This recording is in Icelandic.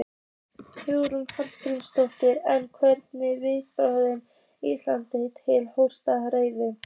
Hugrún Halldórsdóttir: En hvernig er viðhorf Íslendinga til hjólreiða?